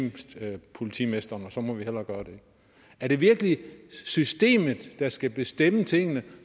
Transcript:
politimesteren og så må vi hellere gøre det er det virkelig systemet der skal bestemme tingene